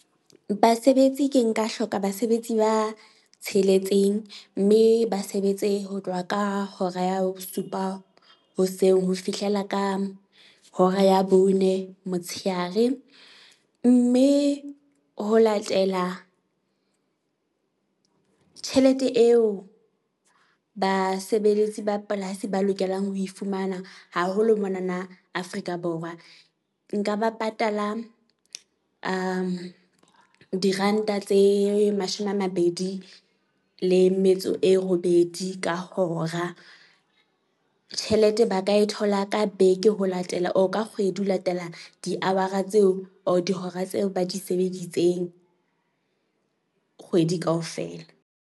Basebetsi ke nka hloka basebetsi ba tsheletseng. Mme ba sebetse ho tloha ka hora ya bosupa hoseng ho fihlela ka hora ya bone motsheare. Mme ho latela tjhelete eo basebeletsi ba polasi ba lokelang ho e fumana haholo monana Afrika Borwa, nka ba patala diranta tse mashome a mabedi le metso e robedi ka hora. Tjhelete ba ka e thola ka beke ho latela or ka kgwedi, ho latela di hour-a tseo or dihora tseo ba di sebeditseng kgwedi kaofela.